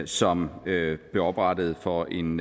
som blev oprettet for en